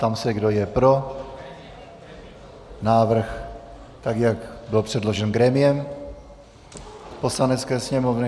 Ptám se, kdo je pro návrh, tak jak byl předložen grémiem Poslanecké sněmovny.